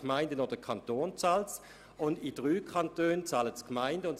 die Kosten fallen somit weder beim Kanton noch bei den Gemeinden an.